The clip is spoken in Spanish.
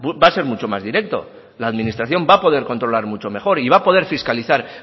va a ser mucho más directo la administración va a poder controlar mucho mejor y va a poder fiscalizar